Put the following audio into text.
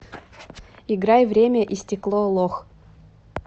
играй время и стекло лох